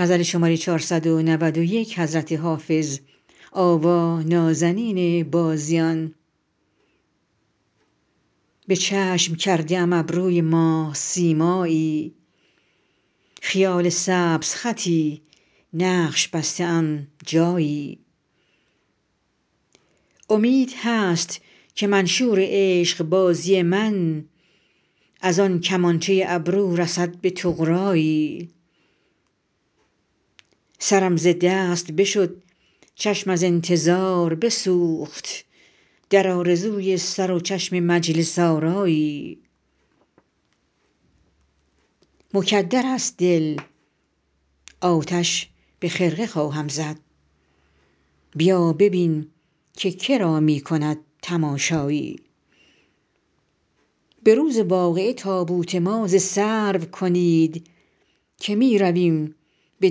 به چشم کرده ام ابروی ماه سیمایی خیال سبزخطی نقش بسته ام جایی امید هست که منشور عشق بازی من از آن کمانچه ابرو رسد به طغرایی سرم ز دست بشد چشم از انتظار بسوخت در آرزوی سر و چشم مجلس آرایی مکدر است دل آتش به خرقه خواهم زد بیا ببین که کرا می کند تماشایی به روز واقعه تابوت ما ز سرو کنید که می رویم به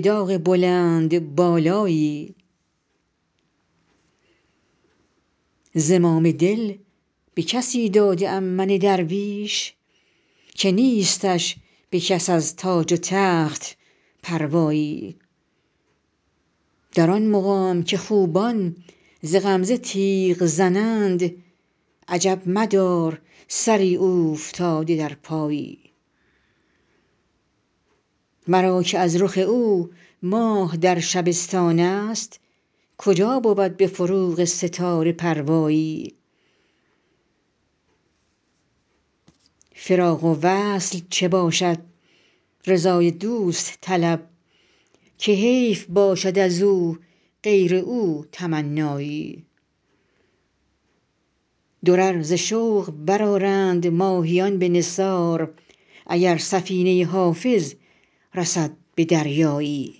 داغ بلندبالایی زمام دل به کسی داده ام من درویش که نیستش به کس از تاج و تخت پروایی در آن مقام که خوبان ز غمزه تیغ زنند عجب مدار سری اوفتاده در پایی مرا که از رخ او ماه در شبستان است کجا بود به فروغ ستاره پروایی فراق و وصل چه باشد رضای دوست طلب که حیف باشد از او غیر او تمنایی درر ز شوق برآرند ماهیان به نثار اگر سفینه حافظ رسد به دریایی